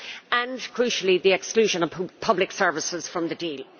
and crucially the exclusion of public services from the deal.